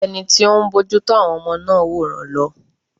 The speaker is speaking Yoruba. Ẹni tí ó ń bójú tó àwọn ọmọ náà wòran lọ.